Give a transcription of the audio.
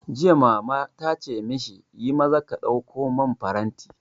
Jiya Mama tace mashi, yi maza ka ɗauko man faranti!